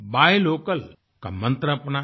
bye localका मन्त्र अपनाया